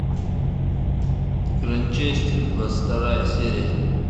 гранчестер двадцать вторая серия